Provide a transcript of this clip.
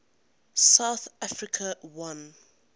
south africa won